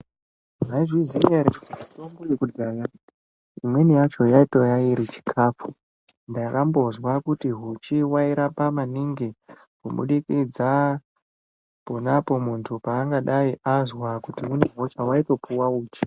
Mwaizviziya ere kuti mutombo yekudhaya imweni yacho yaitoya iri chikafu ndakambozwa kuti huchi wairapa maningi kubudikidza ponapo muntu paangadai azwa kuti une hosha waitopuwa uchi.